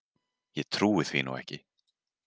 Ég trúi því nú ekki.